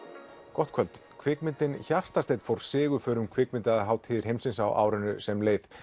gott kvöld kvikmyndin fór sigurför um kvikmyndahátíðir heimsins á árinu sem leið